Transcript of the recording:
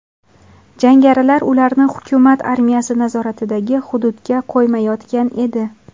Jangarilar ularni hukumat armiyasi nazoratidagi hududga qo‘ymayotgan edi.